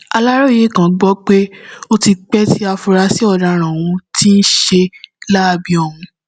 aláròye gbọ pé ó ti pẹ tí afurasí ọdaràn ohun tí ń ṣiṣẹ láabi ọhún